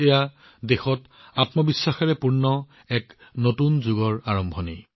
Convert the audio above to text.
এয়া হৈছে দেশৰ বাবে আত্মবিশ্বাসেৰে পৰিপূৰ্ণ এক নতুন যুগৰ আৰম্ভণি